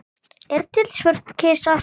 Er til svört kista?